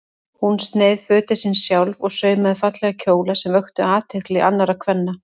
Hún sneið fötin sín sjálf og saumaði fallega kjóla sem vöktu athygli annarra kvenna.